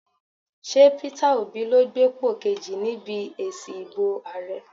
Ṣé Peter Obi ló gbépò kejì níbi èsì ìbò ààrẹ?